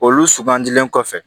Olu sugandilen kɔfɛ